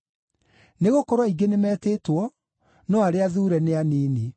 “Nĩgũkorwo aingĩ nĩmetĩtwo, no arĩa athuure nĩ anini.”